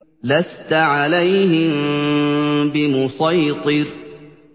لَّسْتَ عَلَيْهِم بِمُصَيْطِرٍ